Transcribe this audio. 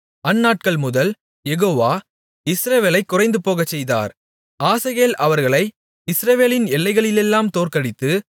அந்நாட்கள்முதல் Jehovah இஸ்ரவேலைக் குறைந்துபோகச் செய்தார் ஆசகேல் அவர்களை இஸ்ரவேலின் எல்லைகளிலெல்லாம் தோற்கடித்து